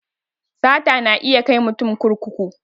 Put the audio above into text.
Sata na iya kai mutum kurkuku